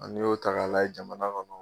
N'i y'o ta ka lajɛ jamana kɔnɔ